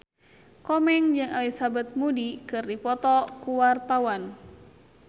Komeng jeung Elizabeth Moody keur dipoto ku wartawan